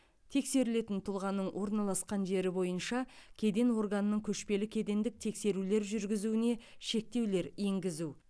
тексерілетін тұлғаның орналасқан жері бойынша кеден органының көшпелі кедендік тексерулер жүргізуіне шектеулер енгізу